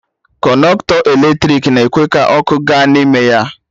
Kọnọktọ eletrik na-ekwe ka ọkụ ga n'ime ya